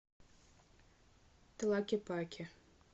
тлакепаке